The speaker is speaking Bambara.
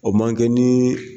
O man kɛ ni